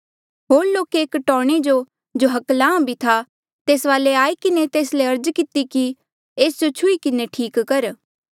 होर लोके एक टौणे जो जो हकलाहां भी था तेस वाले आई किन्हें तेस ले अर्ज किती कि एस जो छुही किन्हें ठीक कर